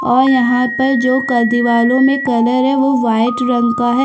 और यहाँ पर जो कर दीवारों में कलर है वो वाइट रंग का है।